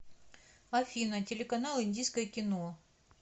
афина телеканал индийское кино